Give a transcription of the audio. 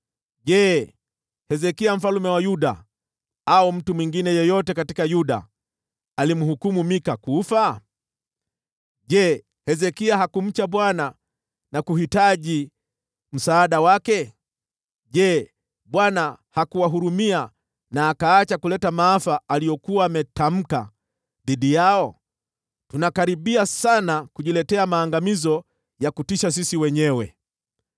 Je, Hezekia mfalme wa Yuda au mtu mwingine yeyote katika Yuda alimhukumu Mika kufa? Je, Hezekia hakumcha Bwana na kuhitaji msaada wake? Je, Bwana hakuwahurumia na akaacha kuleta maafa aliyokuwa ametamka dhidi yao? Tunakaribia sana kujiletea maangamizo ya kutisha sisi wenyewe!”